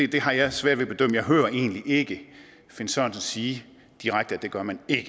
det har jeg svært ved at bedømme jeg hører egentlig ikke finn sørensen sige direkte at det gør man ikke